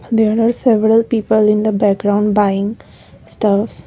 there are several people in the background buying stuff.